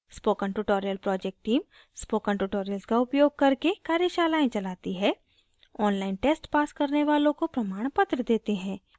spoken tutorial project team spoken tutorials का उपयोग करके कार्यशालाएं चलाती है online test pass करने वालों को प्रमाणपत्र देते हैं